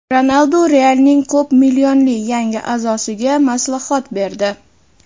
Ronaldu "Real"ning ko‘p millionli yangi a’zosiga maslahat berdi.